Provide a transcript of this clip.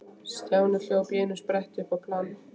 Stjáni hljóp í einum spretti upp á planið.